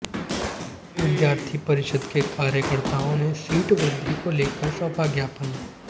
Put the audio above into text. विद्यार्थी परिषद के कार्यकर्ताओं ने सीट वृद्धि को लेकर सौंपा ज्ञापन